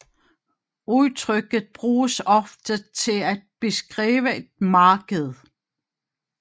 Udtrykket bruges ofte til at beskrive et marked